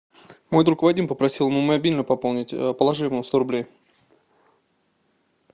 мой друг вадим попросил ему мобильный пополнить положи ему сто рублей